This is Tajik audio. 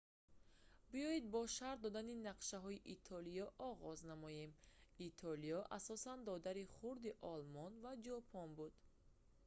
биёед бо шарҳ додани нақшаҳои итолиё оғоз намоем итолиё асосан додари хурдии олмон ва ҷопон буд